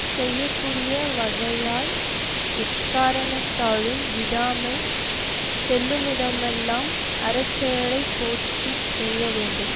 செய்ய கூடிய வகையால் எக்காரணத்தாலும் விடாமல் செல்லுமிடமெல்லாம் அறச்செயலைப் போற்றி செய்ய வேண்டும்